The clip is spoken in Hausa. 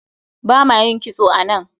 bama yin kitso a nan